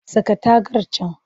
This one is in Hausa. Saka tagar can!